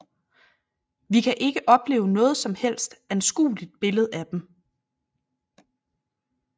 Vi kan ikke opleve noget som helst anskueligt billede af den